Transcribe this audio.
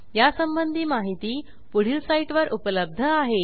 यासंबंधी माहिती पुढील साईटवर उपलब्ध आहे